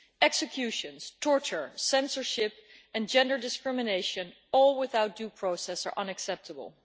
Executions, torture, censorship and gender discrimination without due process are unacceptable.